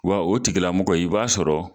Wa o tigilamɔgɔ i b'a sɔrɔ